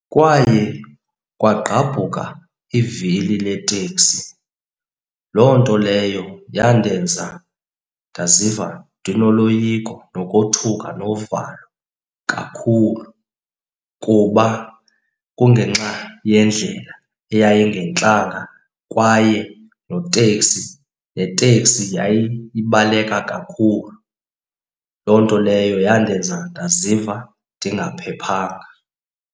Kwaye kwagqabhuka ivili leteksi. Loo nto leyo yandenza ndaziva ndinoloyiko nokothuka novalo kakhulu kuba kungenxa yendlela eyayingentlanga kwaye noteksi, neteksi yayibaleka kakhulu. Loo nto leyo yandenza ndaziva ndingaphephanga.